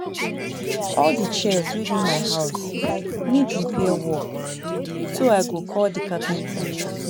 All the chairs wey dey my house need repair work so I go call the carpenter